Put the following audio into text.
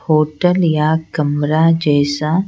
hotel या कमरा जैसा--